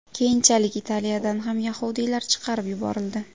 Keyinchalik Italiyadan ham yahudiylar chiqarib yuborildi.